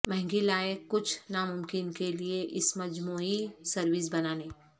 مہنگی لائق کچھ ناممکن کے لئے اس مجموعی سروس بنانے